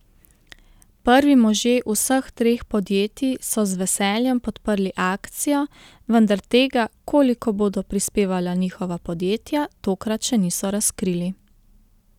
Prvi možje vseh treh podjetij so z veseljem podprli akcijo, vendar tega, koliko bodo prispevala njihova podjetja tokrat še niso razkrili.